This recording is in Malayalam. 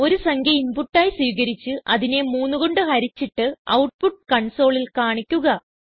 ഒരു സംഖ്യ ഇൻപുട്ട് ആയി സ്വീകരിച്ച് അതിനെ 3 കൊണ്ട് ഹരിച്ചിട്ട് ഔട്ട്പുട്ട് കൺസോളിൽ കാണിക്കുക